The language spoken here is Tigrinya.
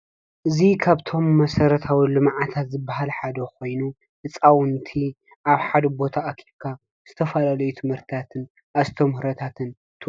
እዚ ካብቶም መሰረታዊ ልምዓታት ዝብሃል ሓደ ኮይኑ ህፃውንቲ ኣብ ሓደ ቦታ ኣኪብካ ዝተፈላለዩ ትምህርቲታትን ኣስተምህሮታትን ቱ።